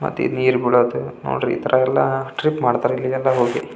ಮತ್ತೆ ನೀರು ಬಿಡದು ನೋಡ್ರಿ ಇತರ ಎಲ್ಲ ಟ್ರಿಪ್ ಮಾಡುತ್ತಾರೆ ಇಲ್ಲಿಗೆಲ್ಲ ಹೋಗಿ--